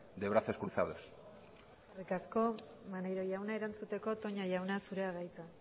de brazos cruzados eskerrik asko maneiro jauna erantzuteko toña jauna zurea da hitza